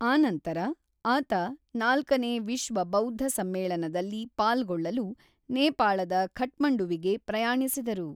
ಆನಂತರ ಆತ ನಾಲ್ಕನೇ ವಿಶ್ವ ಬೌದ್ಧ ಸಮ್ಮೇಳನದಲ್ಲಿ ಪಾಲ್ಗೊಳ್ಳಲು ನೇಪಾಳದ ಕಠ್ಮಂಡುವಿಗೆ ಪ್ರಯಾಣಿಸಿದರು.